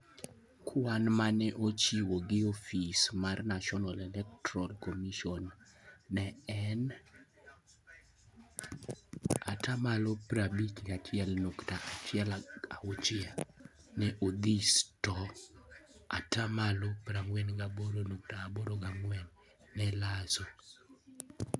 Kwan ma ne ochiw gi ofis mar National Electoral Commission ne en 51.16% neOdhis to 48.84% ne Lasso.